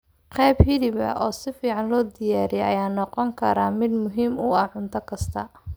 Qayb hilib ah oo si fiican loo diyaariyey ayaa noqon kara mid muhiim u ah cunto kasta.